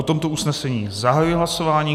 O tomto usnesení zahajuji hlasování.